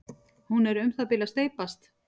hún er um það bil að steypast